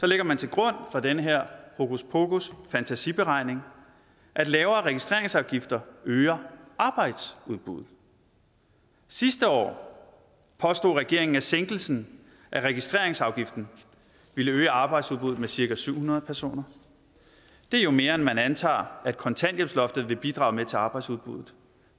lægger man til grund for den her hokus pokus fantasi beregning at lavere registreringsafgifter øger arbejdsudbuddet sidste år påstod regeringen at sænkelsen af registreringsafgiften ville øge arbejdsudbuddet med cirka syv hundrede personer det er mere end man antager at kontanthjælpsloftet vil bidrage med til arbejdsudbuddet